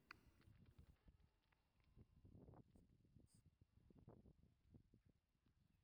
Barnaamijyada waxbarashada carruurnimada hore ayaa si isa soo taraysa loo kala hormarinayaa.